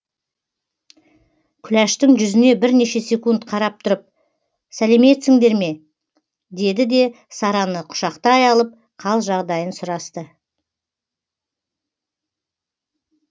күләштің жүзіне бірнеше секунд қарап тұрып сәлеметсіңдер ме деді де сараны құшақтай алып қал жағдайын сұрасты